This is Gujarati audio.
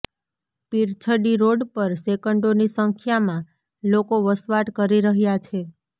પીરછડી રોડ પર સેંકડોની સંખ્યામાં લોકો વસવાટ કરી રહ્યા છે